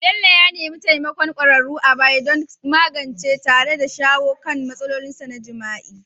Bello ya nemi taimakon kwararru a baya don magancewa tare da shawo kan matsalolinsa na jima'i.